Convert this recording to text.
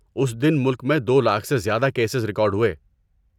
اس دن ملک میں دو لاکھ سے زیادہ کیسز ریکارڈ ہوئے۔